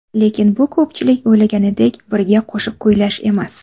Lekin bu ko‘pchilik o‘ylaganidek birga qo‘shiq kuylash emas.